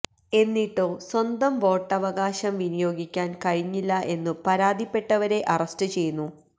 എന്നിട്ടോ സ്വന്തം വോട്ടവകാശം വിനിയോഗിക്കാന് കഴിഞ്ഞില്ല എന്നു പരാതിപ്പെട്ടവരെ അറസ്റ്റ് ചെയ്യുന്നു